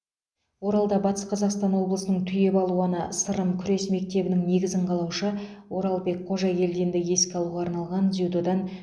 оралда батыс қазақстан облысының түйе балуаны сырым күрес мектебінің негізін қалаушы оралбек қожагелдинді еске алуға арналған дзюдодан